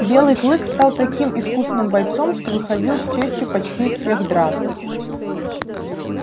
белый клык стал таким искусным бойцом что выходил с честью почти из всех драк